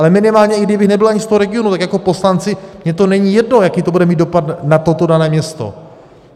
Ale minimálně i kdybych nebyl ani z toho regionu, tak jako poslanci mně to není jedno, jaký to bude mít dopad na toto dané město.